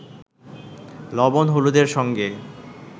লবণ-হলুদের সঙ্গে